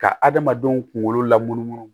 Ka adamadenw kunkolo lamunumunu